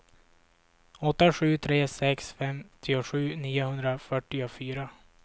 åtta sju tre sex femtiosju niohundrafyrtiofyra